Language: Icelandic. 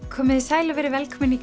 komiði sæl og verið velkomin í